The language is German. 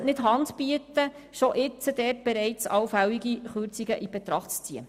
Man sollte nicht Hand bieten und bereits jetzt allfällige Kürzungen in Betracht ziehen.